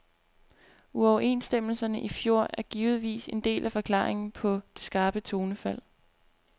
Uoverenstemmelserne i fjor er givetvis en del af forklaringen på det skarpe tonefald.